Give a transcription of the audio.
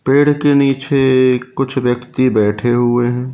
पेड़ के नीचे कुछ व्यक्ति बैठे हुए हैं।